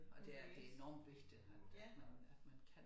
Og det er det enormt vigtigt at øh at man at man kan